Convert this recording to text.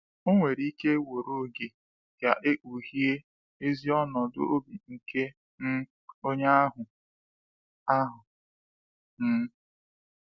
Ọ nwere ike were oge ka e kpughee ezi ọnọdụ obi nke um onye ahụ. ahụ. um